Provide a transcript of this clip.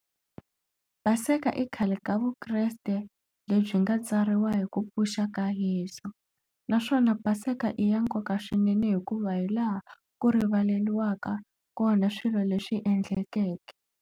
Paseke i khale ka vukreste lebyi nga tsariwa hi ku pfuxa ka Yeso naswona Paseka i ya nkoka swinene hikuva hi laha ku rivaleriwa kona swilo leswi endlekeke.